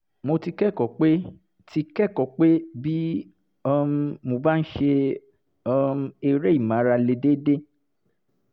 mo ti kẹ́kọ̀ọ́ pé ti kẹ́kọ̀ọ́ pé bí um mo bá ń ṣe um eré ìmárale déédéé